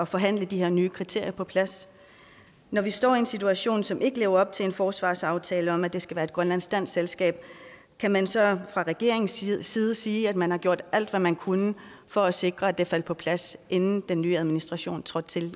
forhandle de her nye kriterier på plads når vi står i en situation som ikke lever op til en forsvarsaftale om at det skal være et grønlandsk dansk selskab kan man så fra regeringens side sige at man har gjort alt hvad man kunne for at sikre at det faldt på plads inden den nye administration trådte til